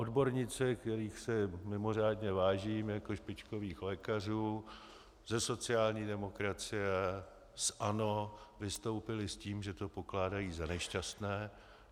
Odborníci, kterých si mimořádně vážím jako špičkových lékařů ze sociální demokracie, z ANO, vystoupili s tím, že to pokládají za nešťastné.